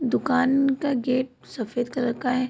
दुकान का गेट सफ़ेद कलर का है।